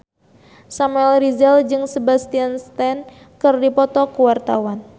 Samuel Rizal jeung Sebastian Stan keur dipoto ku wartawan